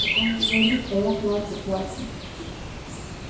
так он говорит а я плачу плачу